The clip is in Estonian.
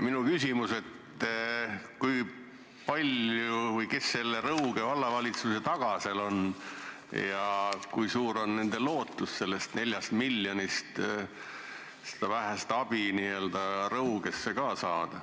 Minu küsimus on, et kui palju või kes selle Rõuge Vallavalitsuse taga on ja kui suur on lootus sellest 4 miljonist abist midagi ka Rõugesse saada.